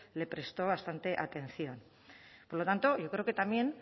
le prestó bastante atención por lo tanto yo creo que también